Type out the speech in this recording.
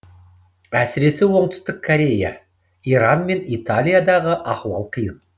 әсіресе оңтүстік корея иран мен италиядағы ахуал қиын